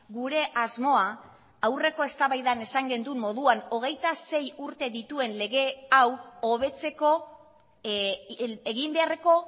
gure asmoa aurreko eztabaidan esan genduen moduan hogeita sei urte dituen lege hau hobetzeko egin beharreko